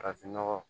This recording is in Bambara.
Farafinnɔgɔ